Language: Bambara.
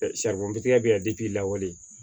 saribɔn tikɛ be yan i lawale